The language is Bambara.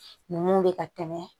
Ninnu bɛ ka tɛmɛ